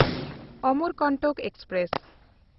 Amarkantak express